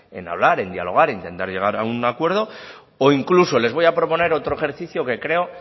en hablar en dialogar en intentar llegar a un acuerdo o incluso les voy a proponer otro ejercicio que creo